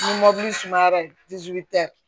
Ni sumayara